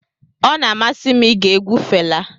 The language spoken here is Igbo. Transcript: Ọ na-amasị m ige egwu Fela.